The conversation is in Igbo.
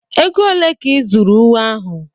Ego ole ka ị zụrụ uwe ahụ?